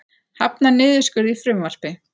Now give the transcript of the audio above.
Hafnar niðurskurði í frumvarpi